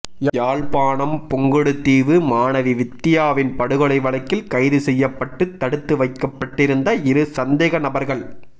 யாழ்ப்பாணம் புங்குடுதீவு மாணவி வித்தியாவின் படுகொலை வழக்கில் கைது செய்யப்பட்டு தடுத்து வைக்கப்பட்டிருந்த இரு சந்தேகநபர்கள்